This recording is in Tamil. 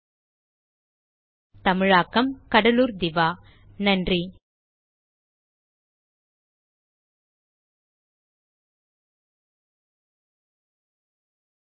spoken hyphen tutorial dot org slash நிமைக்ட் ஹைபன் இன்ட்ரோ தமிழாக்கம் கடலூர் திவா வணக்கம்